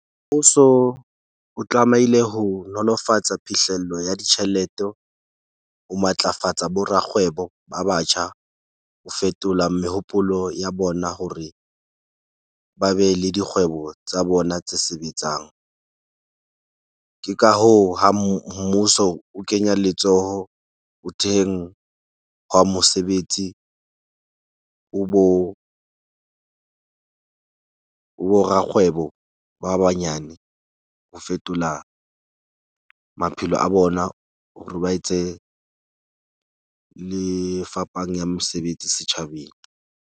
Ho so o tlamehile ho nolofatsa phihlello ya ditjhelete ho matlafatsa bo rakgwebo ba batjha. Ho fetola mehopolo ya bona hore ba be le dikgwebo tsa bona tse sebetsang. Ke ka hoo, ha mmuso o kenya letsoho ho theheng hwa mosebetsi ho bo rakgwebo ba banyane ho fetola maphelo a bona hore ba etse le fapang ya mosebetsi setjhabeng.